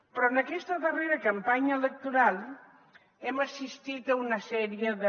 però en aquesta darrera campanya electoral hem assistit a una sèrie de